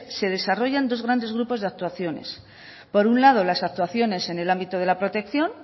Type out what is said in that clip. se desarrollan dos grandes grupos de actuaciones por un lado las actuaciones en el ámbito de la protección